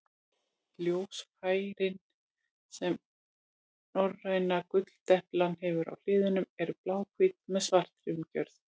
Ljósfærin sem norræna gulldeplan hefur á hliðum eru bláhvít með svartri umgjörð.